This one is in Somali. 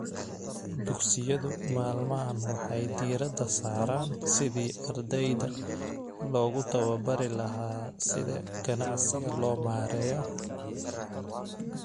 Dugsiyadu maalmahan waxay diiradda saaraan sidii ardayda loogu tababari lahaa sida ganacsiga loo maareeyo.